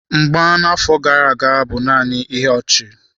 Mgba na-afọ gara aga bụ naanị ihe ọchị.